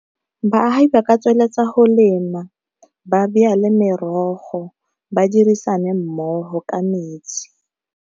Baagi ba ka tsweletsa go lema ba merogo ba dirisana mmogo ka metsi.